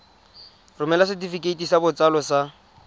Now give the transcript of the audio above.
romela setefikeiti sa botsalo sa